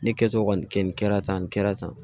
Ne kɛtɔ kɔni kɛ nin kɛra tan nin kɛra tan